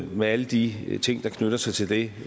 med alle de ting der knytter sig til det